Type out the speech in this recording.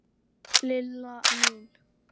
LILLA MÍN!